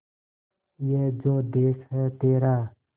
ये जो देस है तेरा